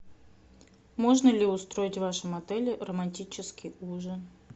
можно ли устроить в вашем отеле романтический ужин